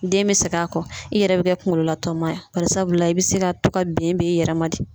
Den bɛ segin a kɔ, i yɛrɛ bɛ kɛ kunkololatɔma ye, bari sabula , i bɛ se ka to ka ben b'i yɛrɛ ma .